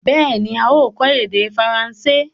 Bẹ́ẹ̀ni, a ó kọ́ èdè faransé.